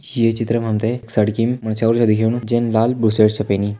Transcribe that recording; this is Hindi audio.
ये चित्र मा हम तें सड़किम मछ्येरू छा दिखेणु जैन लाल बुशर्ट छ पैनि।